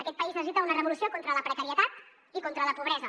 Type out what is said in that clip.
aquest país necessita una revolució contra la precarietat i contra la pobresa